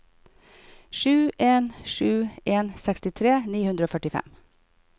sju en sju en sekstitre ni hundre og førtifem